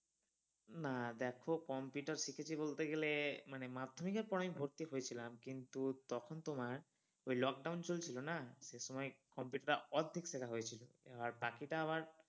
না দেখো computer শিখেছি বলতে গেলে মানে মাধ্যমিকের পর আমি ভর্তি হয়েছিলাম কিন্তু তখন তোমার ওই lockdown চলছিল না সেই সময় computer টা অর্ধেক শিখা হয়েছিল, আর বাকিটা আবার